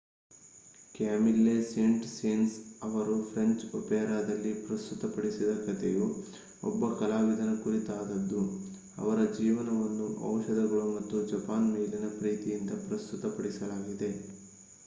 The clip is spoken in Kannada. ಕ್ಯಾಮಿಲ್ಲೆ ಸೇಂಟ್-ಸೇನ್ಸ್ ಅವರು ಫ್ರೆಂಚ್ ಒಪೆರಾದಲ್ಲಿ ಪ್ರಸ್ತುತಪಡಿಸಿದ ಕಥೆಯು ಒಬ್ಬ ಕಲಾವಿದನ ಕುರಿತಾದದ್ದು ಅವರ ಜೀವನವನ್ನು ಔಷಧಗಳು ಮತ್ತು ಜಪಾನ್ ಮೇಲಿನ ಪ್ರೀತಿಯಿಂದ ಪ್ರಸ್ತುತಪಡಿಸಲಾಗಿದೆ